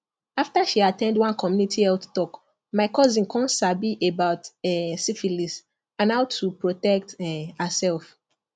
after she at ten d one community health talk my cousin come sabi about um syphilis and how to protect um herself